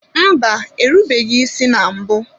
Mba, erubeghị isi na mbụ